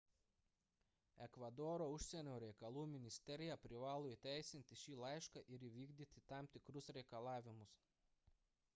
ekvadoro užsienio reikalų ministerija privalo įteisinti šį laišką ir įvykdyti tam tikrus reikalavimus